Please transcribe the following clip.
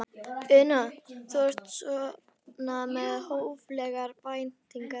Una: Þú ert svona með hóflegar væntingar?